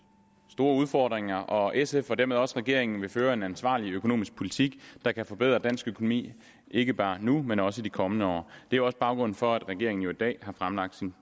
store udfordringer og sf og dermed også regeringen vil føre en ansvarlig økonomisk politik der kan forbedre dansk økonomi ikke bare nu men også i de kommende år det er også baggrunden for at regeringen i dag har fremlagt sin